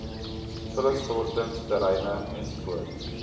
vullisstortings terreine ens